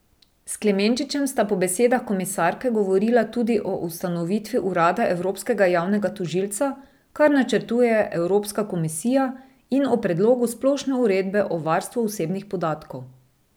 S Klemenčičem sta po besedah komisarke govorila tudi o ustanovitvi urada evropskega javnega tožilca, kar načrtuje Evropska komisija, in o predlogu Splošne uredbe o varstvu osebnih podatkov.